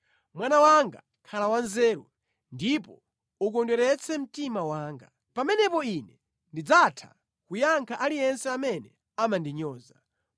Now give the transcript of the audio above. Mwana wanga, khala wanzeru, ndipo ukondweretse mtima wanga; pamenepo ine ndidzatha kuyankha aliyense amene amandinyoza.